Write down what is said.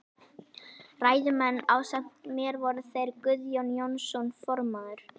Ræðumenn ásamt mér voru þeir Guðjón Jónsson formaður